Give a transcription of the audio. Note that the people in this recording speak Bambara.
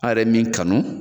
Ale min kanu